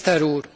Miniszter úr!